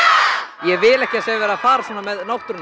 ég vil ekki að það sé verið að fara svona með náttúruna